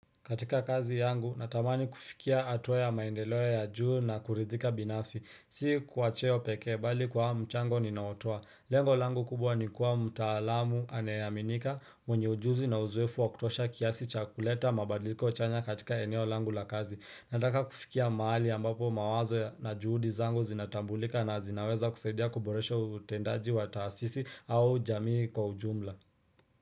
Katika kazi yangu, natamani kufikia hatua ya maendeleo ya juu na kuridhika binafsi. Si kwa cheo pekee, bali kwa mchango ninaotoa. Lengo langu kubwa ni kuwa mtaalamu anayeaminika, mwenye ujuzi na uzoefu wa kutosha kiasi cha kuleta mabadiliko chanya katika eneo langu la kazi. Nataka kufikia maali ambapo mawazo na juhudi zangu zinatambulika na zinaweza kusaidia kuboresho utendaji wa taasisi au jamii kwa ujumla.